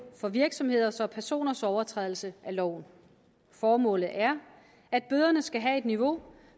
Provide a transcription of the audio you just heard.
for virksomheders og personers overtrædelse af loven formålet er at bøderne skal have et niveau